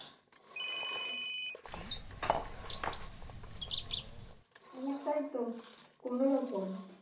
আমারটাই তো কোনোরকম